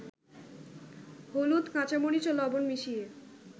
হলুদ, কাঁচামরিচ ও লবণ মিশিয়ে